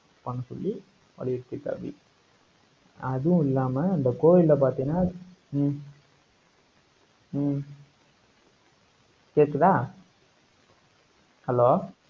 பண்ணச்சொல்லி வலியுறுத்தி இருக்காப்படி. அதுவும் இல்லாம, இந்த கோவில்ல பாத்தீங்கன்னா, ஹம் ஹம் கேக்குதா? hello